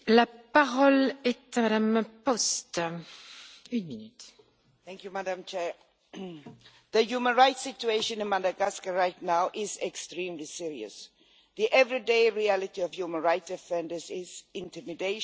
Madam President, the human rights situation in Madagascar right now is extremely serious. The everyday reality of human rights defenders is intimidation, threats, lack of freedom of association and expression,